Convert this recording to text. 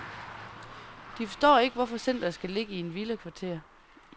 De forstår ikke, hvorfor centeret skal ligge i et villakvarter.